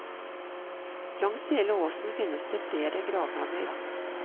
Langs hele åsen finnes det flere gravhauger.